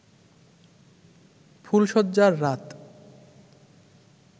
ফুলসজ্জার রাত